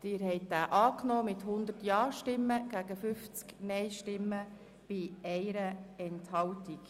Sie haben den Eventualantrag Haas angenommen mit 100 Ja- gegen 50 Nein-Stimmen bei 1 Enthaltung.